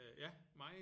Øh ja meget